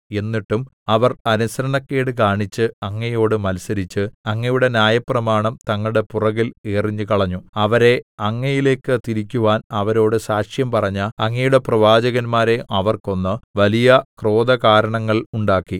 എന്നിട്ടും അവർ അനുസരണക്കേട് കാണിച്ച് അങ്ങയോട് മത്സരിച്ച് അങ്ങയുടെ ന്യായപ്രമാണം തങ്ങളുടെ പുറകിൽ എറിഞ്ഞുകളഞ്ഞു അവരെ അങ്ങയിലേയ്ക്ക് തിരിക്കുവാൻ അവരോട് സാക്ഷ്യംപറഞ്ഞ അങ്ങയുടെ പ്രവാചകന്മാരെ അവർ കൊന്ന് വലിയ ക്രോധകാരണങ്ങൾ ഉണ്ടാക്കി